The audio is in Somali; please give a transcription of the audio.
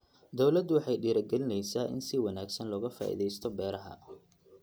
Dawladdu waxay dhiirigelinaysaa in si wanaagsan looga faa'iidaysto beeraha.